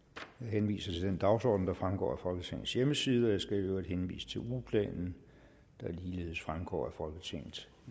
jeg henviser til den dagsorden der fremgår af folketingets hjemmeside og jeg skal i øvrigt henvise til ugeplanen der ligeledes fremgår af folketingets